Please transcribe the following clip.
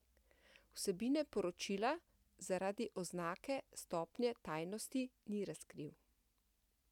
Vsebine poročila zaradi oznake stopnje tajnosti ni razkril.